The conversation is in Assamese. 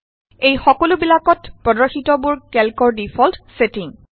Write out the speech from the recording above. এই সকলোবিলাকত প্ৰদৰ্শিতবোৰ কেল্কৰ ডিফল্ট ছেটিম